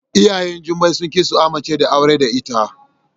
Iyayen Jummai sunki su amince da aurar da ita.